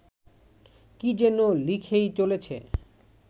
কী যেন লিখেই চলেছে